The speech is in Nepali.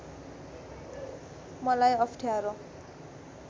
मलाई अप्ठ्यारो